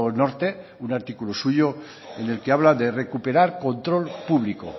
norte un artículo suyo en el que habla de recuperar control público